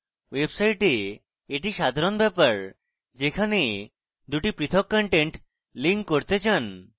website a এটি সাধারণ ব্যাপার যেখানে দুটি পৃথক contents link করতে চান